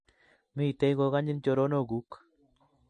Miten kokanyin choronoguk